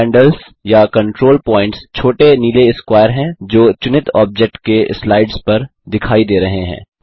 handles या control points छोटे नीले स्क्वायर हैं जो चुनित ऑब्जेक्ट के स्लाइड्स पर दिखाई दे रहे हैं